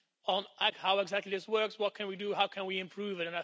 on how exactly this works, what can we do, how can we improve it.